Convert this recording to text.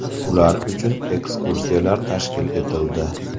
Ular uchun ekskursiyalar tashkil etildi.